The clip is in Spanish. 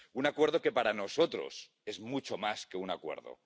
Un acuerdo que para nosotros es mucho más que un acuerdo.